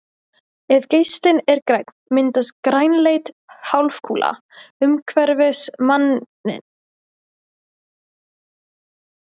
Ef geislinn er grænn myndast grænleit hálfkúla umhverfis manninn og hann fær ofbirtu í augun.